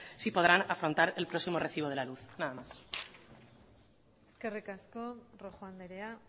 si podrán afrontar el próximo recibo de la luz nada más eskerrik asko rojo andrea